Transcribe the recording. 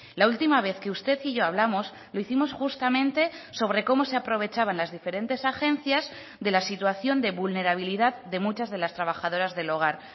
la última vez que usted y yo hablamos lo hicimos justamente sobre cómo se aprovechaban las diferentes agencias de la situación de vulnerabilidad de muchas de las trabajadoras del hogar